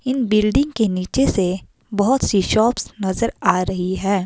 इन building के नीचे से बहोत सी शाॅप्स नजर आ रही है।